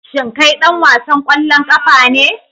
Shin kai dan wasan kwallon kafa ne